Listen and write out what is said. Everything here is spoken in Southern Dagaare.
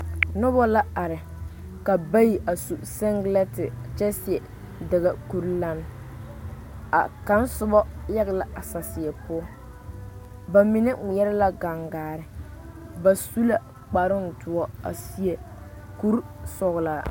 Noba la are ka bayi a su seŋgelente kyɛ ka ba mine seɛ dagakuri lane a kaŋ soba ɛge la a saseɛ poɔ ba mine ŋmeɛrɛ la gaŋgaare ba su la kparoo doɔ ka seɛ kuri sɔgelaa